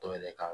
Dɔw yɛrɛ ka